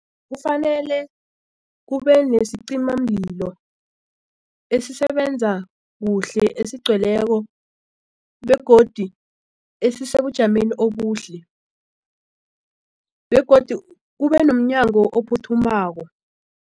Kufanele kube nesicimamlilo esisebenza kuhle esigcweleko begodu esisebujameni obuhle begodu kube nomnyango ophuthumako.